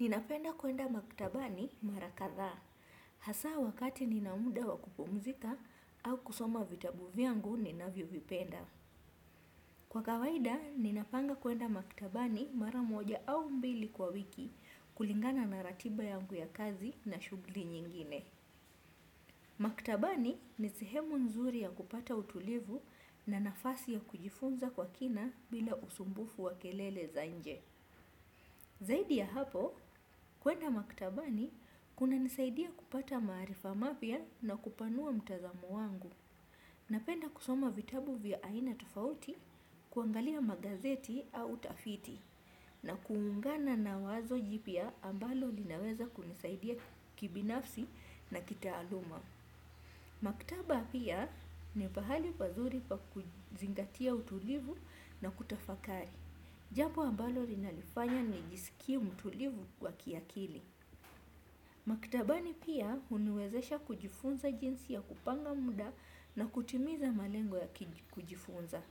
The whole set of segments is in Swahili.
Ninapenda kuenda maktabani mara kadha, hasa wakati ninamuda wakupumzika au kusoma vitabu vyangu ninavyovipenda. Kwa kawaida, ninapanga kuenda maktabani mara moja au mbili kwa wiki kulingana na ratiba yangu ya kazi na shugli nyingine. Maktabani ni sehemu nzuri ya kupata utulivu na nafasi ya kujifunza kwa kina bila usumbufu wa kelele za nje. Zaidi ya hapo, kuenda maktaba ni kuna nisaidia kupata maarifa mapya na kupanua mtazamo wangu. Napenda kusoma vitabu vya aina tofauti, kuangalia magazeti au utafiti, na kuungana na wazo jipya ambalo linaweza kunisaidia kibinafsi na kitaaluma. Maktaba pia ni pahali pazuri pa kuzingatia utulivu na kutafakari. Jabo ambalo linalifanya nijisiki mtulivu kwa kiakili. Maktabani pia uniwezesha kujifunza jinsi ya kupanga muda na kutimiza malengo ya kujifunza.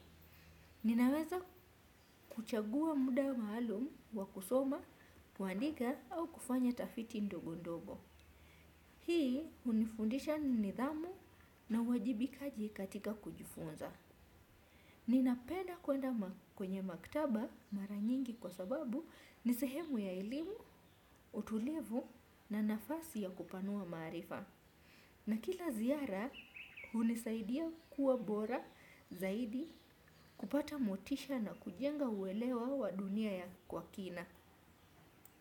Ninaweza kuchagua muda maalum wa kusoma, kuandika au kufanya tafiti ndogo ndogo. Hii unifundisha ni nidhamu na uwajibikaji katika kujifunza. Ninapenda kuenda kwenye maktaba mara nyingi kwa sababu ni sehemu ya elimu, utulivu na nafasi ya kupanua maarifa. Na kila ziara, hunisaidia kuwa bora zaidi kupata motisha na kujenga uelewa wa dunia ya kwa kina.